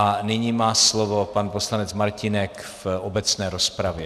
A nyní má slovo pan poslanec Martínek v obecné rozpravě.